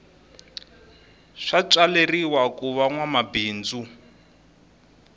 swa tswaleriwa kuva nwa mabindzu